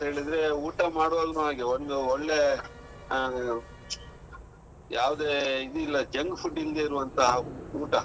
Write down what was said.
ಹೇಳಿದ್ರೆ, ಊಟ ಮಾಡುವಾಗ್ಲು ಹಾಗೆ ಒಂದು ಒಳ್ಳೆ ಆ ಯಾವುದೇ ಇದ್ ಇಲ್ಲ junk food ಇಲ್ದೆ ಇರುವಂತ ಊಟ.